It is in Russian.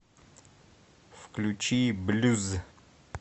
включи блюз